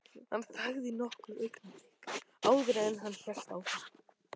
Hann þagði nokkur augnablik áður en hann hélt áfram.